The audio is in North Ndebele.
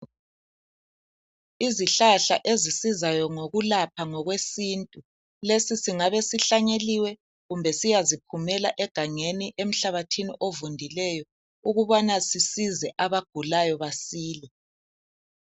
Izihlahla ezisizayo ngokulapha ngokwesintu, lesi singabe sihlanyeliwe, kumbe siyaziphumela egandeni emhlabathini ovundileyo ukubana sisize abagulayo basile.